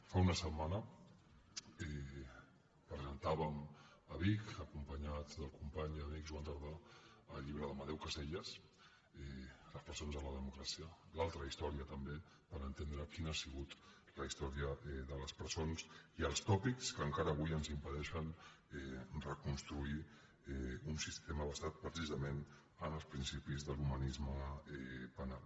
fa una setmana presentàvem a vic acompanyats del company i amic joan tardà el llibre d’amadeu caselles les presons de la democràcia l’altra història també per entendre quina ha sigut la història de les presons i els tòpics que encara avui ens impedeixen reconstruir un sistema basat precisament en els principis de l’humanisme penal